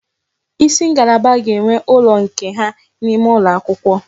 Isi ngalaba ga-enwe ụlọ nke ha n'ime ụlọ akwụkwọ